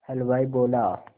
हलवाई बोला